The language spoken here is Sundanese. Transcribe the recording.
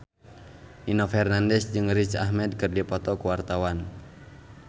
Nino Fernandez jeung Riz Ahmed keur dipoto ku wartawan